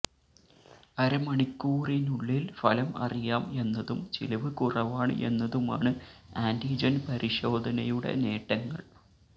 അരമണിക്കൂറിനുള്ളിൽ ഫലം അറിയാം എന്നതും ചിലവ് കുറവാണ് എന്നതുമാണ് ആന്റിജൻ പരിശോധനയുടെ നേട്ടങ്ങൾ